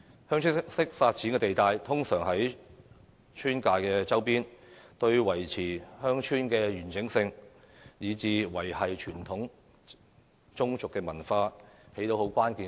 "鄉村式發展"地帶通常位於村界周邊，對維持鄉村的完整性以至維繫傳統宗族文化有着關鍵作用。